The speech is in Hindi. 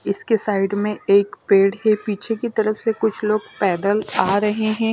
इसके साइड में एक पेड़ है पीछे की तरफ से कुछ लोग पैदल आ रहे हैं।